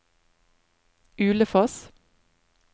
Ulefoss